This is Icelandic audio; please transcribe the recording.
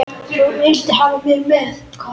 Þú vildir hafa mig með.